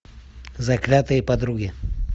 заклятые подруги